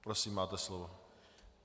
Prosím, máte slovo.